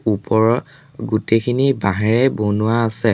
ওপৰৰ গোটেইখিনি বাঁহেৰে বনোৱা আছে।